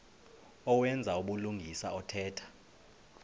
owenza ubulungisa othetha